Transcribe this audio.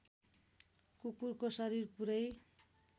कुकुरको शरीर पुरै